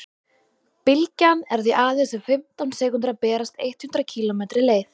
bylgjan er því aðeins um fimmtán sekúndur að berast eitt hundruð kílómetri leið